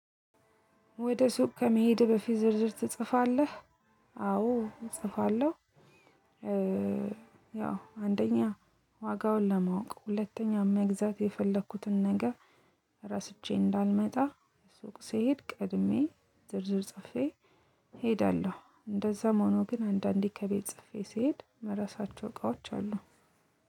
ወደ ሱቅ ከመሄድህ በፊት ዝርዝር ትጽፋለህ? አዎ እጽፋለሁ። ያው አንደኛ ዋጋውን ለማወቅ ሁለተኛ መግዛት የፈለኩትን ነገር። ረስቼ እንዳልመጣ ስውቅ ስሄድ ቀድሜ ዝርዝር ጽፌ እሄዳለሁ። እንደዛም ሆኖ ግን አንዳንዴ ከቤት ጽፌ ስሄድ ምረሳቸው እቃዎች አሉ።